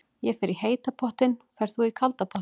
Ég fer í heita pottinn. Ferð þú í kalda pottinn?